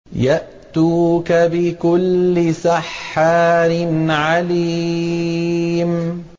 يَأْتُوكَ بِكُلِّ سَحَّارٍ عَلِيمٍ